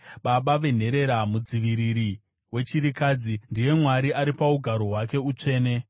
Baba venherera, mudziviriri wechirikadzi, ndiye Mwari ari paugaro hwake utsvene.